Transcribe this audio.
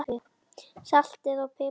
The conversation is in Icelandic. Saltið og piprið að smekk.